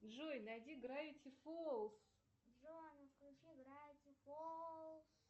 джой найди гравити фолс